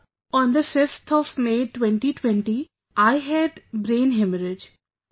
Sir, on the 5th of May, 2020, I had brain haemorrhage